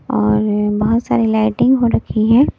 और बहुत सारी लाइटिंग हो रखी हैं।